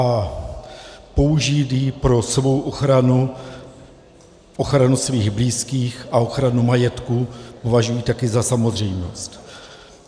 A použít ji pro svou ochranu, ochranu svých blízkých a ochranu majetku považuji taky za samozřejmost.